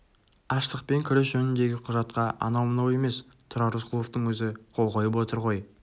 аштықпен күрес жөніндегі құжатқа анау-мынау емес тұрар рысқұловтың өзі қол қойып отыр ғой